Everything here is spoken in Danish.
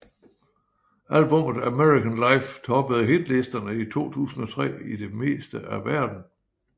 Albummet American Life toppede hitlisterne i 2003 i det meste af verden